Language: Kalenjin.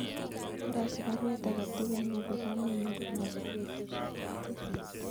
Karasich baruet agetugul neobu kamenyun komasir petusiek tuten